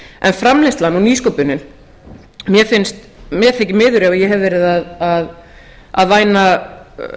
en framleiðslan og nýsköpunin mér þykir miður ef ég hef verið að væna